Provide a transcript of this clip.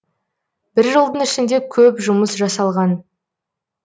бір жылдың ішінде көп жұмыс жасалған